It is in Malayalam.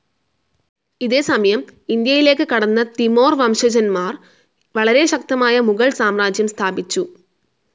ഇതേ സമയം ഇന്ത്യയിലേക്ക് കടന്ന തിമോർ വംശജന്മാർ വളരെ ശക്തമായ മുഗൾ സാമ്രാജ്യം സ്ഥാപിച്ചു.